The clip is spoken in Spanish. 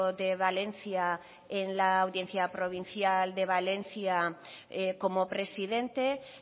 de valencia en la audiencia provincial de valencia como presidente